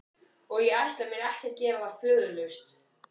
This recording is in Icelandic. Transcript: Og ég ætla mér ekki að gera það föðurlaust.